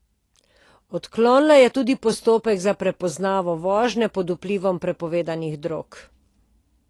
Odklonila je tudi postopek za prepoznavo vožnje pod vplivom prepovedanih drog.